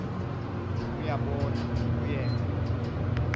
uya bona uyeva